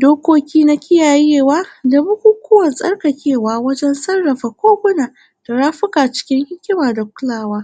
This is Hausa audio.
dokoki na kiyayewa da bukunkuna da abubuwan tsarkakewa wajen tsarkake koguna rafika cikin hikima da kulawa